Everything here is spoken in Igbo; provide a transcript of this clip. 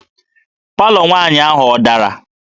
Palọ nwaanyị ahụ ọ dara?